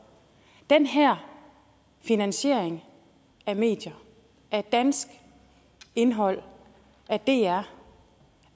den her finansiering af medier af dansk indhold af dr